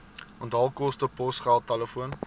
onthaalkoste posgeld telefoon